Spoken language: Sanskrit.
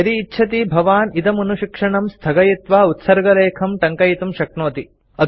यदि इच्छति भवान् इदमनुशिक्षणं स्थगयित्वा उत्सर्गलेखं टङ्कयितुं शक्नोति